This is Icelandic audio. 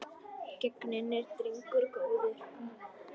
Genginn er drengur góður.